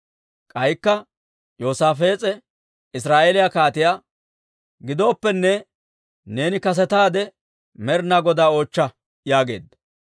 K'aykka Yoosaafees'e Israa'eeliyaa kaatiyaa, «Gidooppenne, neeni kasetaade Med'inaa Godaa oochcha» yaageedda.